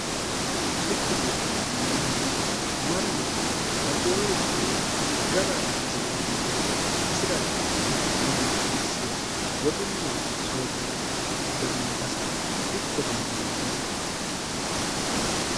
diikkote yinanniti mannu baxeoricho woy hirara hasi'reoricho isira tirfinoricho masse woxunni soorrire higanno base ikkote yinanni yaate